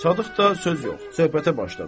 Sadıq da söz yox, söhbətə başladı.